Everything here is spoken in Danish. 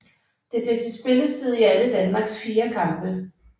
Det blev til spilletid i alle Danmarks fire kampe